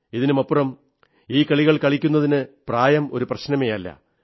ഇതിനുമപ്പുറം ഈ കളികൾ കളിക്കുന്നതിന് പ്രായം ഒരു പ്രശ്നമേയല്ല